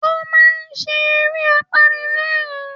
Ó máa ń ṣe eré apanilẹ́rìn-ín